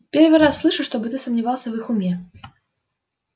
первый раз слышу чтобы ты сомневался в их уме